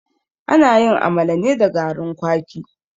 Ana yin amala ne da garin kwaki.